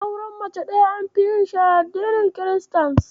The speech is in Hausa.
Auren mace ɗaya anfi yinsa a addinin kiristanci.